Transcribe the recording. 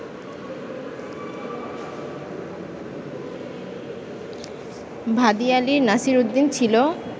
ভাদিয়ালির নাসিরউদ্দিন ছিলো